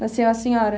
Nasceu a senhora?